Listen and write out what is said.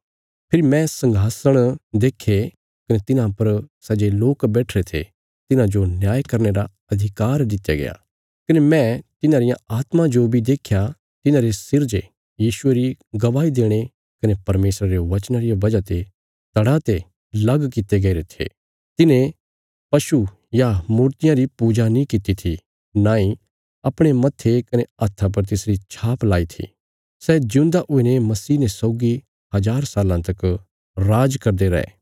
फेरी मैं संघासण देक्खे कने तिन्हां पर सै जे लोक बैठिरे थे तिन्हांजो न्याय करने रा अधिकार दित्या गया कने मैं तिन्हांरियां आत्मां जो बी देख्या तिन्हांरे सिर जे यीशुये री गवाही देणे कने परमेशरा रे वचनां रिया वजह ते धड़ा ते लग कित्ते गईरे थे तिन्हें पशु या मूर्तियां री पूजा नीं कित्ती थी नांई अपणे मत्थे कने हत्था पर तिसरी छाप लई थी सै जिऊंदा हुईने मसीह ने सौगी हज़ार साल्लां तक राज करदे रै